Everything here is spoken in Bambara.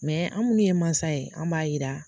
Mɛ an minnu ye mansa ye an b'a yira